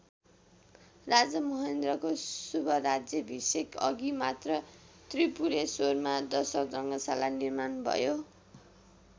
राजा महेन्द्रको शुभराज्याभिषेकअघि मात्र त्रिपुरेश्वरमा दशरथ रङ्गशाला निर्माण भयो।